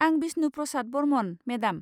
आं बिस्नु प्रसाद बरमन, मेडाम।